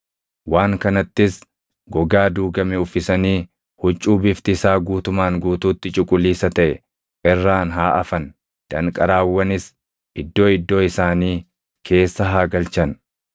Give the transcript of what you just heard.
Waan kanattis gogaa duugame uffisanii huccuu bifti isaa guutumaan guutuutti cuquliisa taʼe irraan haa afan. Danqaraawwanis iddoo iddoo isaanii keessa haa galchan.